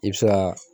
I bɛ se ka